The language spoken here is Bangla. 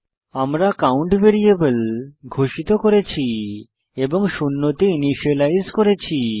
আমরা কাউন্ট ভ্যারিয়েবল ঘোষিত করেছি এবং শূন্যতে ইনিসিয়েলাইজ করেছি